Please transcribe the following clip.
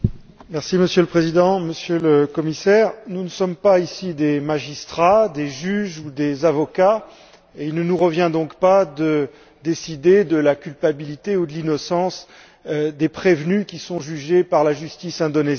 Monsieur le Président, Monsieur le Commissaire, nous ne sommes pas ici des magistrats, des juges ou des avocats, et il ne nous revient donc pas de décider de la culpabilité ou de l'innocence des prévenus qui sont jugés par la justice indonésienne.